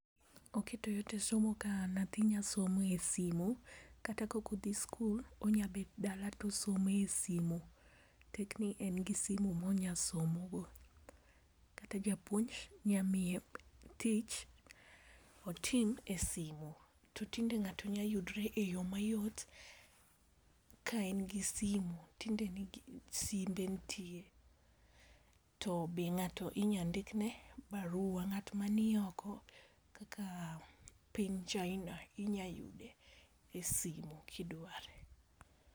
Oketo yot e somo, ka nyathi nyalo somo e simu kata ka ok odhi sikul, onyalo bet dala to osomo e simu, tek ni en gi simu mo nyalo somo go. To kata japuonj nyalo miye tich otim e simu. To tinde ng'ato nyalo yudere eyo mayot ka en gi tinde simbe nitie to be ng'ato inya ndikre baruwa, ng'at man oko kaka piny China inya yude e simu kidware.